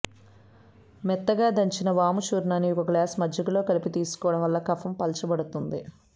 మెత్తగా దంచిన వాము చూర్ణాన్ని ఒకగ్లాసు మజ్జిగలో కలపి తీసుకోవటం వల్ల కఫం పల్చబడుతుంది